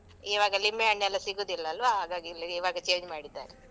ಇವಾಗ ಲಿಂಬೆ ಹಣ್ಣೆಲ್ಲ ಸಿಗುದಿಲ್ವಾ ಹಾಗಾಗಿ ಇವಾಗ change ಮಾಡಿದ್ದಾರೆ.